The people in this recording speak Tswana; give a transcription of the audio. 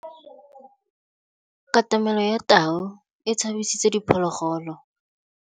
Katamêlô ya tau e tshabisitse diphôlôgôlô.